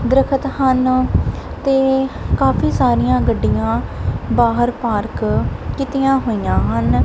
ਦਰਖਤ ਹਨ ਤੇ ਕਾਫੀ ਸਾਰੀਆਂ ਗੱਡੀਆਂ ਬਾਹਰ ਪਾਰਕ ਕੀਤੀਆਂ ਹੋਈਆਂ ਹਨ।